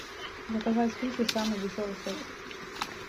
заказать суши самый дешевый сет